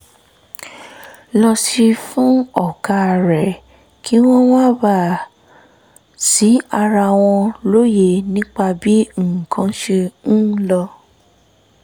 lọ sí fún ọ̀gá rẹ̀ kí wọ́n má bàa ṣi ara wọn lóye nípa bí nǹkan ṣe ń lọ